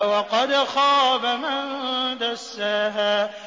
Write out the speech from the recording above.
وَقَدْ خَابَ مَن دَسَّاهَا